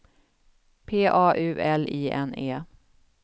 P A U L I N E